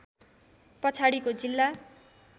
पछाडिको जिल्ला